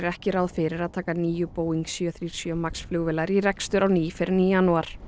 ekki ráð fyrir að taka níu Boeing sjö sjö MAX flugvélar í rekstur á ný fyrr en í janúar